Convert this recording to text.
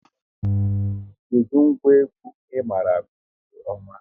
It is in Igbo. Kedụ ngwa egwu ị maara akụ nke ọma?